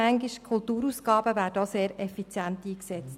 Die Kulturausgaben werden sehr effizient eingesetzt.